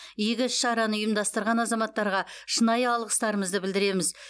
игі іс шараны ұйымдастырған азаматтарға шынайы алғыстарымызды білдіреміз